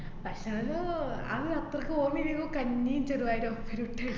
ഭക്ഷണം എല്ലോ ആഹ് അത്രക്ക് ഓര്‍മ്മ ഇല്ലേനു. കഞ്ഞി ചെറുപയറും കിട്ടാൽ